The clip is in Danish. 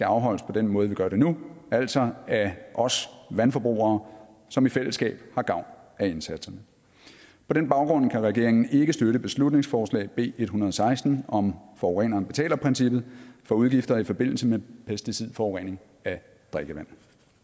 afholdes på den måde vi gør det nu altså af os vandforbrugere som i fællesskab har gavn af indsatserne på den baggrund kan regeringen ikke støtte beslutningsforslag b en hundrede og seksten om forureneren betaler princippet for udgifter i forbindelse med pesticidforurening at drikkevand